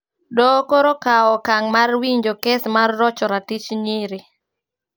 Doho koro okao okang mar winjo kes mar rocho ratich nyiri